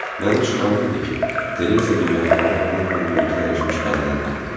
Mənim üçün aydın idi ki, Tereza yeməkxanada onunla birlikdə əyləşmiş qadının adıdır.